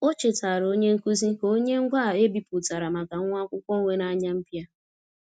O chetaara onye nkuzi ka o nye ngwaa e bipụtara maka nwa akwụkwọ nwere anya mpia.